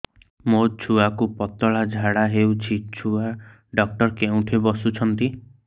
ମୋ ଛୁଆକୁ ପତଳା ଝାଡ଼ା ହେଉଛି ଛୁଆ ଡକ୍ଟର କେଉଁଠି ବସୁଛନ୍ତି